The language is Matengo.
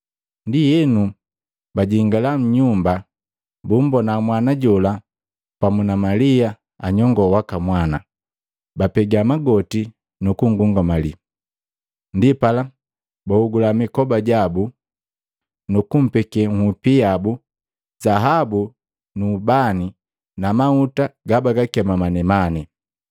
Ndienu, bajingala nnyumba, bummbona mwana jola pamu na Malia nyongoo waka mwana, bapega magoti nukungungamali. Ndipala baogula mikoba jabu, nukumpeke nhupi yabu, zaabu nu ubani na mahuta gabagakema manemane.